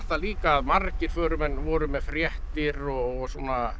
líka að margir voru með fréttir og svona